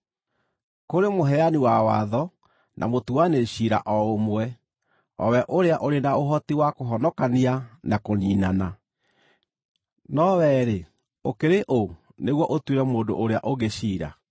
Kũrĩ Mũheani wa watho, na Mũtuanĩri ciira o ũmwe, o we ũrĩa ũrĩ na ũhoti wa kũhonokia na kũniinana. No wee-rĩ, ũkĩrĩ ũ nĩguo ũtuĩre mũndũ ũrĩa ũngĩ ciira?